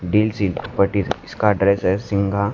deal सी फटी से इसका ड्रेस है सिंघा--